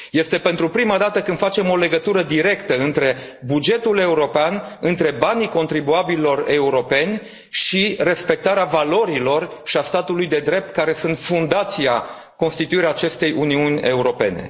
Este pentru prima dată când facem o legătură directă între bugetul european, între banii contribuabililor europeni și respectarea valorilor și a statului de drept, care sunt fundația constituirii acestei Uniuni Europene.